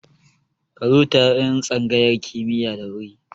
Ka zo taron tsangayar kimiya da wuri